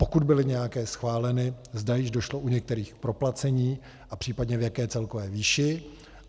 Pokud byly nějaké schváleny, zda již došlo u některých k proplacení a případně v jaké celkové výši.